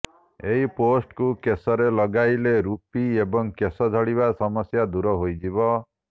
ଏହି ପେଷ୍ଟକୁ କେଶରେ ଲଗାଇଲେ ରୂପି ଏବଂ କେଶ ଝଡିବା ସମସ୍ୟା ଦୂର ହୋଇଯିବ